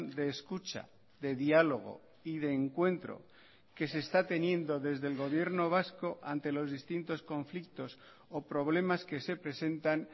de escucha de diálogo y de encuentro que se está teniendo desde el gobierno vasco ante los distintos conflictos o problemas que se presentan